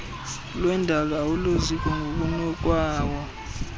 lwendalo awuloziko ngokunokwawo